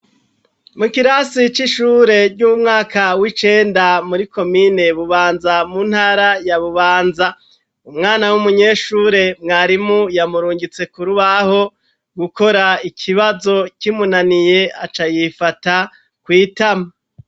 Mu kirasi c'ishure ry'umwaka w'icenda muri komine Bubanza mu ntara ya Bubanza. Umwana w'umunyeshure mwarimu yamurungitse ku rubaho gukora ikibazo, kimunaniye aca yifata kw'itama.